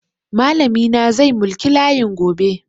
Malami na zai mulki layin gobe.